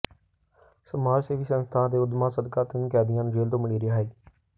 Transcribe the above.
ਸਮਾਜ ਸੇਵੀ ਸੰਸਥਾ ਦੇ ਉਦਮਾਂ ਸਦਕਾ ਤਿੰਨ ਕੈਦੀਆਂ ਨੂੰ ਜੇਲ੍ਹ ਤੋਂ ਮਿਲੀ ਰਿਹਾਈ